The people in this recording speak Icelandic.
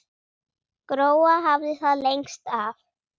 Gróa hafði það lengst af.